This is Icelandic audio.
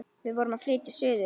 Við vorum að flytja suður.